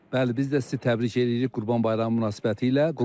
Bəli, biz də sizi təbrik eləyirik Qurban Bayramı münasibətilə.